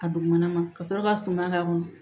A dugumana ma ka sɔrɔ ka suma k'a kɔnɔ